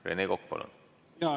Rene Kokk, palun!